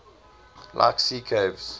like sea caves